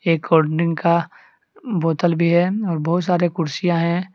एक कोल्डड्रिंक का बोटल भी है और बहुत सारे कुर्सियां हैं।